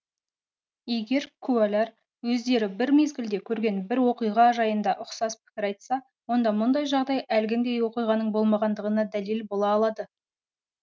егер куәлар өздері бір мезгілде көрген бір оқиға жайында ұқсас пікір айтса онда мұндай жағдай әлгіндей оқиғаның болмағаңдығына дәлел бола алады